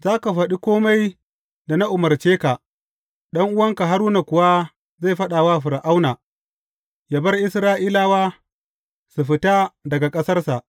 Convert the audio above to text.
Za ka faɗi kome da na umarce ka, ɗan’uwanka Haruna kuwa zai faɗa wa Fir’auna, yă bar Isra’ilawa su fita daga ƙasarsa.